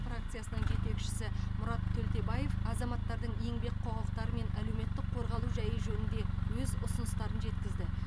фракциясының жетекшісі мұрат төлтебаев азаматтардың еңбек құқықтары мен әлеуметтік қорғалу жайы жөнінде өз ұсыныстарын жеткізді